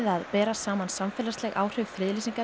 að bera saman samfélagsleg áhrif friðlýsingar